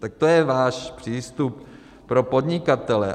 Tak to je váš přístup pro podnikatele.